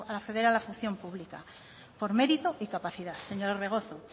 acceder a la función pública por mérito y capacidad señor orbegozo